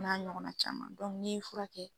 O n'a ɲɔgɔnna caman . ni ye fura kɛ.